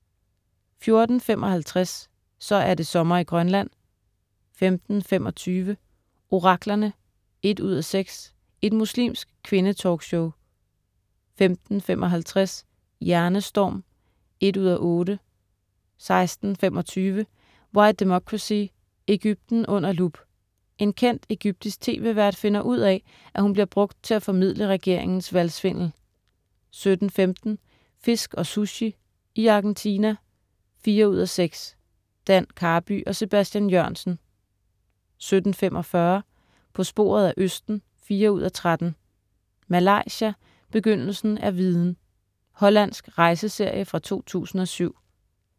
14.55 Så er det sommer i Grønland 15.25 Oraklerne 1:6 Et muslimsk kvinde-talkshow 15.55 Hjernestorm 1:8* 16.25 Why Democracy. Egypten under lup. En kendt egyptisk tv-vært finder ud af, at hun bliver brugt til at formidle regeringens valgsvindel 17.15 Fisk og Sushi, i Argentina 4:6. Dan Karby og Sebastian Jørgensen 17.45 På sporet af østen 4:13. "Malaysia, begyndelsen er viden". Hollandsk rejseserie fra 2007